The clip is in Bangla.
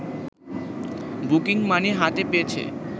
বুকিং মানি হাতে পেয়েছে